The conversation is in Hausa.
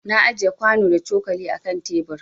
Na ajiƴe kwano da cokali a ƙan tebur.